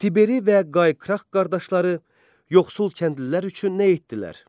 Tiberi və Qay Krah qardaşları yoxsul kəndlilər üçün nə etdilər?